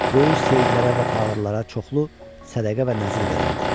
Böyük seyyidlərə və fağırlara çoxlu sədəqə və nəzir verərdi.